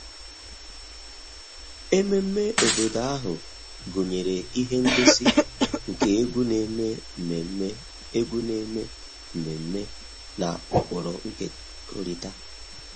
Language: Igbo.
Ememme obodo ahụ gụnyere ihe ngosi nke egwu na-eme mmemme egwu na-eme mmemme na ụkpụrụ nkekọrịta